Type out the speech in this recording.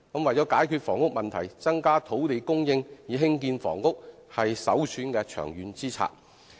為了解決房屋問題，增加土地供應以興建房屋是首選的長遠之策。